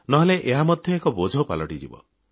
ନହେଲେ ଏହା ମଧ୍ୟ ଏକ ବୋଝ ପାଲଟିଯିବ